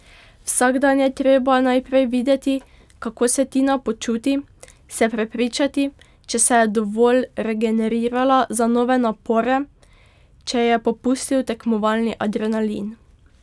Vsak dan je treba najprej videti, kako se Tina počuti, se prepričati, če se je dovolj regenerirala za nove napore, če je popustil tekmovalni adrenalin.